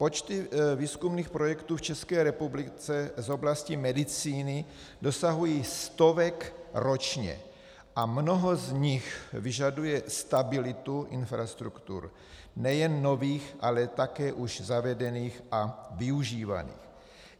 Počty výzkumných projektů v České republice z oblasti medicíny dosahují stovek ročně a mnoho z nich vyžaduje stabilitu infrastruktur, nejen nových, ale také už zavedených a využívaných.